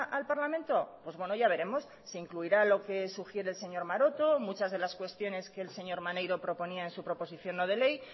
al parlamento pues bueno ya veremos se incluirá lo que sugiere el señor maroto muchas de las cuestiones que el señor maneiro proponía en su proposición no de ley